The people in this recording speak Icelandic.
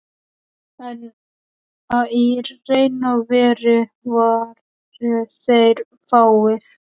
En í raun og veru voru þeir fáir.